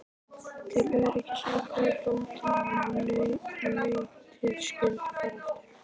Til öryggis ákvað bóndinn að nautið skyldi fara aftur.